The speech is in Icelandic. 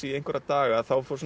í einhverja daga þá